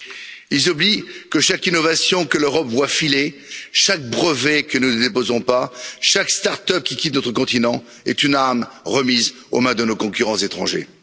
Ils oublient que chaque innovation que l'Europe voit filer, chaque brevet que nous ne déposons pas, chaque start up qui quitte notre continent est une arme remise aux mains de nos concurrents étrangers.